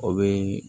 O bɛ